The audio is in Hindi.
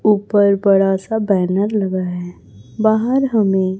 ऊपर बड़ा सा बैनर लगा है बाहर हमें--